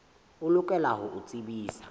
o lokela ho o tsebisa